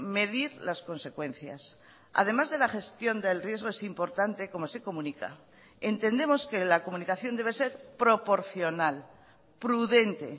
medir las consecuencias además de la gestión del riesgo es importante cómo se comunica entendemos que la comunicación debe ser proporcional prudente